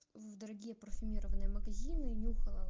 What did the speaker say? в дорогие парфюмированные магазины и нюхала